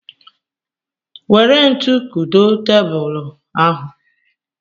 Nwere ntu kudo tebulu ahụ